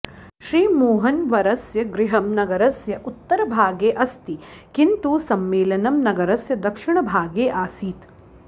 श्रीमोहनवर्यस्य गृहं नगरस्य उत्तरभागे अस्ति किन्तु सम्मेलनं नगरस्य दक्षिणभागे आसीत्